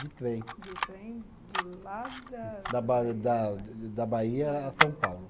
De trem. De trem? De lá da. Da ba da de da Bahia a São Paulo.